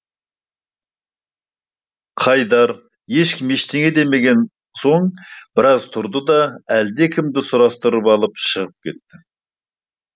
қайдар ешкім ештеңе демеген соң біраз тұрды да әлдекімді сұрастырып алып шығып кетті